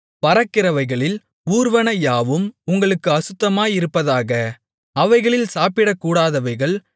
பறக்கிறவைகளில் ஊர்வன யாவும் உங்களுக்கு அசுத்தமாயிருப்பதாக அவைகள் சாப்பிடக்கூடாதவைகள்